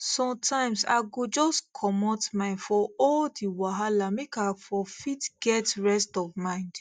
sonetimes i go just comot mind fo all the wahala mak i for fit get rest of mind